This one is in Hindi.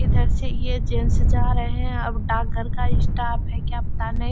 इधर से ये जेंट्स जा रहें हैं और डाक घर का स्टाफ है क्या पता नहीं।